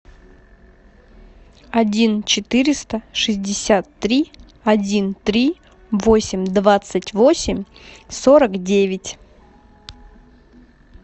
один четыреста шестьдесят три один три восемь двадцать восемь сорок девять